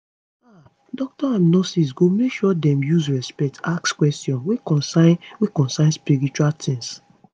ah doctors and nurses go make sure dem use respect ask questions wey concern wey concern spiritual tings